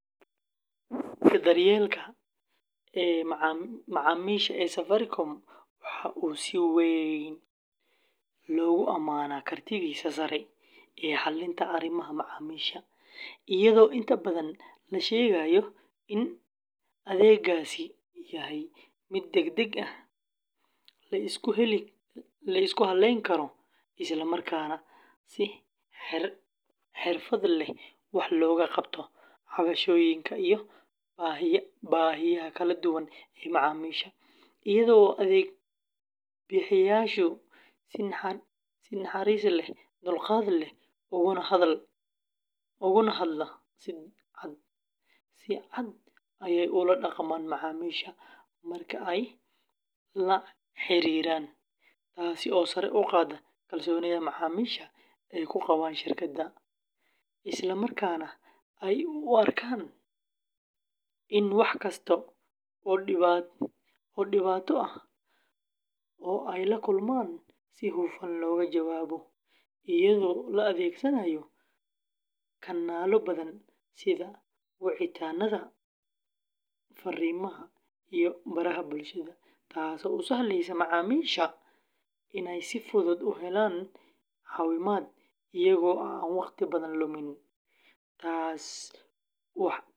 Adeegga daryeelka macaamiisha ee Safaricom waxa uu si weyn loogu amaanaa kartidiisa sare ee xallinta arrimaha macaamiisha, iyadoo inta badan la sheegayo in adeeggaasi yahay mid degdeg ah, la isku halleyn karo, isla markaana si xirfad leh wax looga qabto cabashooyinka iyo baahiyaha kala duwan ee macaamiisha, iyada oo adeeg-bixiyayaashu si naxariis leh, dulqaad leh, uguna hadla si cad ay ula dhaqmaan macaamiisha marka ay la xiriiraan, taasi oo sare u qaadda kalsoonida macaamiisha ay ku qabaan shirkadda, isla markaana ay u arkaan in wax kasta oo dhibaato ah oo ay la kulmaan si hufan looga jawaabo, iyadoo la adeegsanayo kanaallo badan sida wicitaannada, farriimaha, iyo baraha bulshada, taasoo u sahlaysa macaamiisha inay si fudud u helaan caawimaad, iyagoo aan waqti badan lumin, taasina waxay.